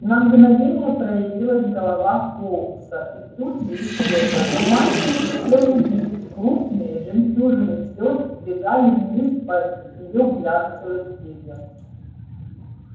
на мгновение проявилась голова фоукса и тут же исчезла но мальчик успел увидеть крупные жемчужины слёз сбегали вниз по её глянцевым перьям